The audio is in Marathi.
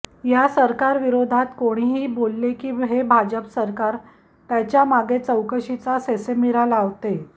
या सरकारविरोधात कोणीही बोलले की हे भाजप सरकार त्याच्या मागे चौकशीचा ससेमिरा लावते